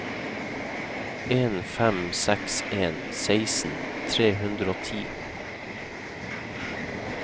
en fem seks en seksten tre hundre og ti